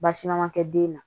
Baasi ma kɛ den na